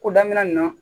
Ko daminɛ na